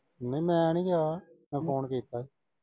ਨਈਂ ਮੈਂ ਨੀ ਗਿਆ, ਮੈਂ ਫੋਨ ਕੀਤਾ ਸੀ।